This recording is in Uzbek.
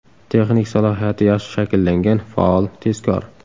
Texnik salohiyati yaxshi shakllangan, faol, tezkor.